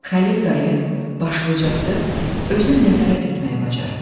Xəlil dayı başlicası özünə nəzarət etməyi bacarıb.